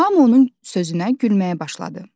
Hamı onun sözünə gülməyə başladı.